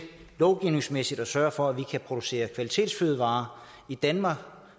lovgivningsmæssigt at sørge for at man kan producere kvalitetsfødevarer i danmark